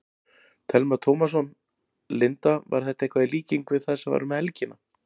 Telma Tómasson: Linda, var þetta eitthvað í líkingu við það sem var um helgina?